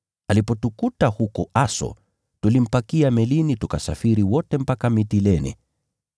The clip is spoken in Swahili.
Alipotukuta huko Aso, tulimpakia melini, tukasafiri wote mpaka Mitilene.